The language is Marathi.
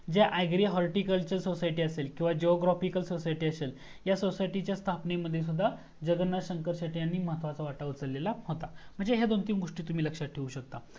जे Horticulture Society असेल किव्हा Geographical Society असेल तर या सोसायटी च्या स्थापणे मध्ये सुद्धा जगन्नाथ शंकर शेटे यांनी महत्वाचा वाटा उचललेला होता म्हणजे ह्या दोन तीन गोस्टी तुम्ही लक्षात ठेऊ शकता